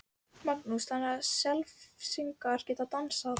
Magnús: Þannig að Selfyssingar geta dansað?